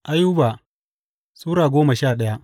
Ayuba Sura goma sha daya